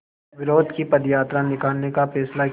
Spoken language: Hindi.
विरोध की पदयात्रा निकालने का फ़ैसला किया